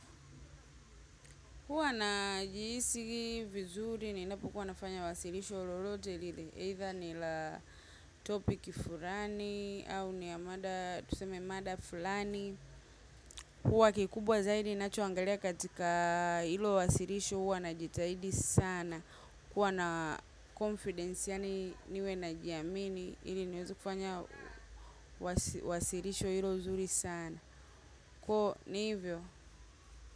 Huwa najihisi vizuri ninapokuwa nafanya wasilisho lolote lile Either ni la topic fulani au ni ya mada tuseme mada fulani. Huwa kikubwa zaidi ninachoangalia katika ilo wasilisho huwa najitahidi sana. Kuwa confidence yani niwe najiamini. Ili niwezekufanya wasilisho ilo zuri sana. Ko niivyo.